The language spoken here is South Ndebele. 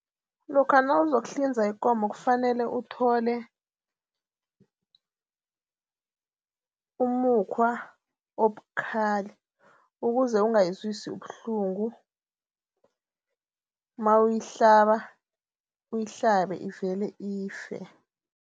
Lokha nawuzokuhlinza ikomo kufanele uthole umukhwa obukhali ukuze ongayizwisi ubuhlungu mawuyihlaba uyihlabe ivele ife.